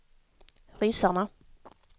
ryssarna